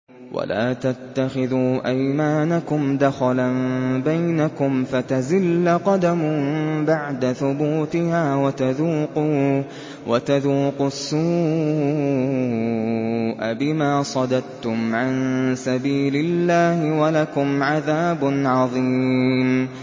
وَلَا تَتَّخِذُوا أَيْمَانَكُمْ دَخَلًا بَيْنَكُمْ فَتَزِلَّ قَدَمٌ بَعْدَ ثُبُوتِهَا وَتَذُوقُوا السُّوءَ بِمَا صَدَدتُّمْ عَن سَبِيلِ اللَّهِ ۖ وَلَكُمْ عَذَابٌ عَظِيمٌ